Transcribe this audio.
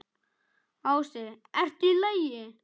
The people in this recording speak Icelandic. Ási: ERTU Í LAGI?